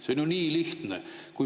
See on ju nii lihtne.